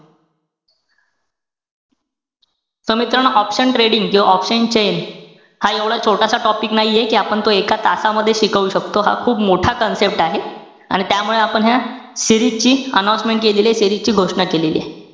So मित्रानो option trading किंवा option chain, हा एवढा छोटासा topic नाहीये कि आपण तो एका तासामध्ये शिकवू शकतो. हा खूप मोठा concept आहे. आणि त्यामुळे आपण ह्या series ची announcement केलेलीय, घोषणा केलेली आहे.